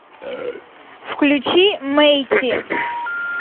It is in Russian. включи мэйти